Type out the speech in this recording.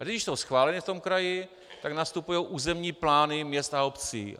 A když jsou schváleny v tom kraji, tak nastupují územní plány měst a obcí.